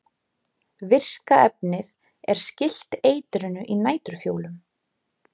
virka efnið er skylt eitrinu í næturfjólum